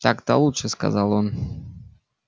так-то лучше сказал он